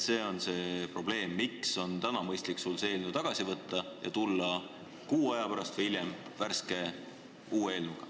See on probleem, mille tõttu on täna mõistlik see eelnõu tagasi võtta ja tulla kuu aja pärast või hiljem meie ette uue eelnõuga.